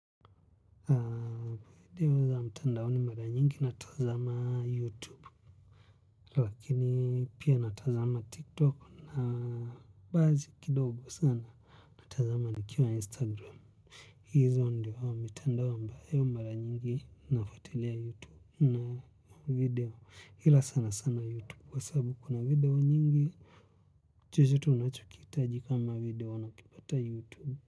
Video za mtandaoni mara nyingi natazama youtube lakini pia natazama tiktok na basi kidogo sana natazama nikiwa instagram hizo ndio mitandao ambayo mara nyingi nafuatilea youtube na video ila sana sana youtube kwa sababu kuna video nyingi chochote unacho kiitaji kama video nakipata youtube.